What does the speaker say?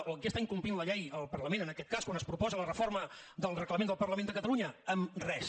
o en què està incomplint la llei el parlament en aquest cas quan es proposa la reforma del reglament del parlament de catalunya en res